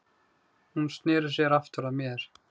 Hún sneri sér aftur að mér.